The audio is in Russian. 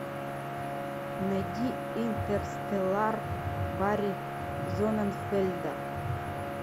найди интерстеллар барри зонненфельда